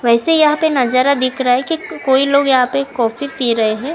ऐसे यहां पे नजारा दिख रहा है कि कोई लोग यहां पे कॉफी पी रहे हैं।